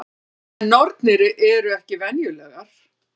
En nornir eru ekki venjulegar.